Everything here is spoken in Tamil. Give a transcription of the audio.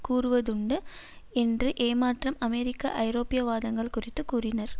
கூறுவதுண்டு என்று ஏமாற்றம் அமெரிக்க ஐரோப்பிய வாதங்கள் குறித்து கூறினார்